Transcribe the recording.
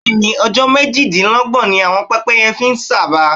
Bẹ́ẹ̀ ni, ọjọ́ méjìdínlọ́gbọ̀n ni pẹ́pẹ́ye fi ń sàba.